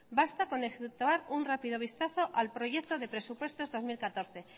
basta con efectuar un rápido vistazo al proyecto de presupuestos dos mil catorce